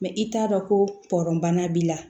Mɛ i t'a dɔn ko pɔrɔnan b'i la